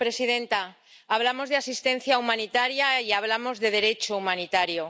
Señora presidenta, hablamos de asistencia humanitaria y hablamos de Derecho humanitario.